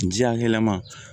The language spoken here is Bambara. Ji hakɛlama